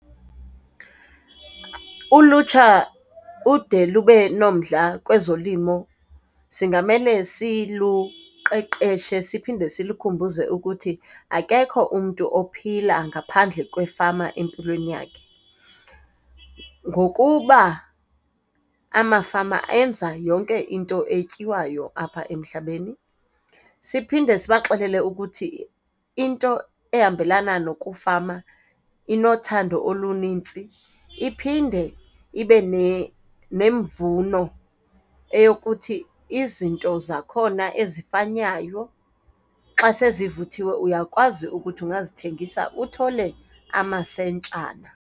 Ulutsha ude lube nomdla kwezolimo singamele siluqeqeshe siphinde silukhumbuze ukuthi akekho umntu ophila ngaphandle kwefama empilweni yakhe, ngokuba amafama enza yonke into etyiwayo apha emhlabeni. Siphinde sibaxelele ukuthi into ehambelana nokufama inothando olunintsi, iphinde ibe nemvuno eyokuthi izinto zakhona ezifanywayo xa sezivuthiwe, uyakwazi ukuthi ungazithengisa uthole amasentshana.